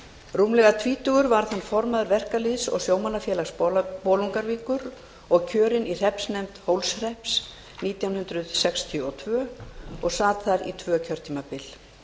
rúmlega tvítugur varð hann formaður verkalýðs og sjómannafélags bolungarvíkur og kjörinn í hreppsnefnd hólshrepps nítján hundruð sextíu og tvö og sat þar í tvö kjörtímabil